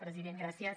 president gràcies